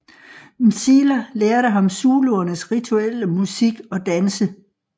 Mzila lærte ham zuluernes rituelle musik og danse